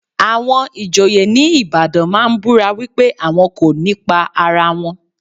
Àwọn ìjòyè ní Ìbàdàn máa ń búra wípé àwọn kò ní pa ara wọn.